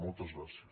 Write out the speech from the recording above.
moltes gràcies